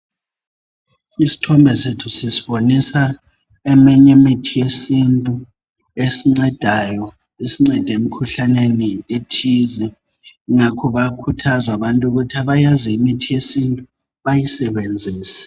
Isithombe sethu sisibonisa eminye imithi yesintu esincedayo. Esincede emikhuhlaneni ethize. Ngakho bayakhuthazwa abantu, ukuthi abazi imithi yesintu. Bayisebenzise.